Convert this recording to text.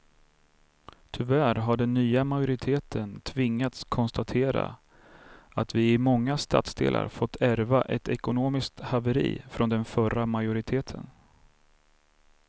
Tyvärr har den nya majoriteten tvingats konstatera att vi i många stadsdelar fått ärva ett ekonomiskt haveri från den förra majoriteten.